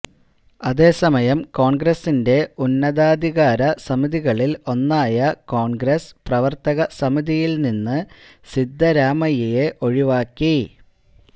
അതേ സമയം കോണ്ഗ്രസിന്റെ ഉന്നതാധികാര സമിതികളില് ഒന്നായ കോണ്ഗ്രസ് പ്രവര്ത്തക സമിതിയില് നിന്ന് സിദ്ധരാമയ്യയെ ഒഴിവാക്കി